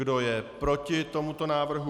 Kdo je proti tomuto návrhu?